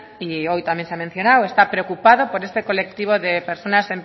y hoy también se ha mencionado está preocupado por este colectivo de personas